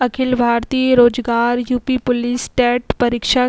अखिल भारतीय रोजगार UP. Police TET परीक्षा --